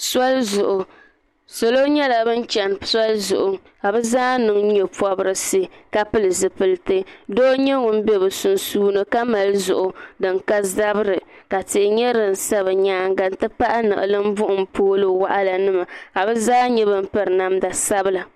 soli zuɣu salo nyɛla ban chɛni soli zuɣu ka bi zaa niŋ nyɛ pobirisi ka pili ziiliti doo n nyɛ ŋun bɛ bi sunsuuni ka mali zuɣu din ka zabiri ka tia nyɛ din sa bi nyaanga n ti pahi niɣilim buɣum pool waɣala nima ka bi zaa nyɛ bin piri namda sabila